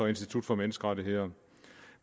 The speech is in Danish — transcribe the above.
institut for menneskerettigheder